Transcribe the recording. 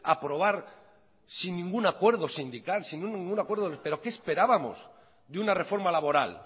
aprobar sin ningún acuerdo sindical sin ningún acuerdo pero qué esperábamos de una reforma laboral